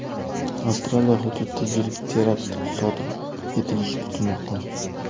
Avstraliya hududida yirik terakt sodir etilishi kutilmoqda.